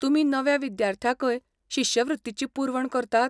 तुमी नव्या विद्यार्थ्यांकय शिश्यवृत्तीची पुरवण करतात?